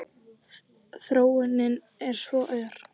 Þróunin er svo ör.